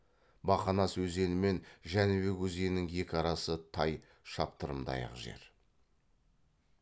бақанас өзені мен жәнібек өзенінің екі арасы тай шаптырымдай ақ жер